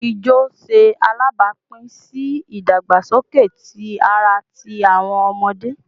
Ijo ṣe alabapin si idagbasoke ti ara ti awọn ọmọde